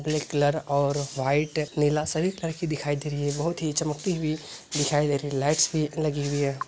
Black और नीला-सी लड़की दिखाई दे रही है बहुत ही चमकती हुई दिखाई दे रही है लाइट भी लगी हुई है।